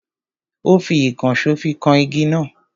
Ó fi ìkànsó fi kan igi náà.